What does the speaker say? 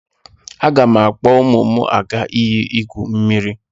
Aga m akpọ ụmụ m aga iyi igwu mmiri.